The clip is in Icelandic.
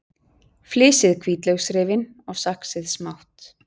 Flysjið hvítlauksrifin og saxið smátt.